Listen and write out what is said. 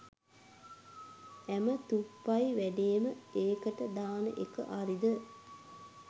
හැම තුප්පහි වැඩේම ඒකට දාන එක හරිද?